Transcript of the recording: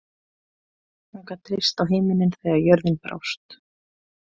Hún gat treyst á himininn þegar jörðin brást.